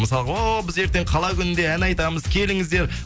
мысалғы оу біз ертең қала күнінде ән айтамыз келіңіздер